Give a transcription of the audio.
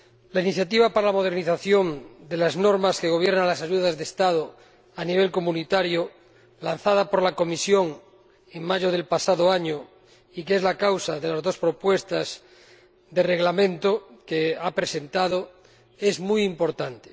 La iniciativa para la modernización de las normas que gobiernan las ayudas de Estado a nivel comunitario, lanzada por la Comisión en mayo del pasado año, y que es la causa de las dos propuestas de reglamento que ha presentado, es muy importante.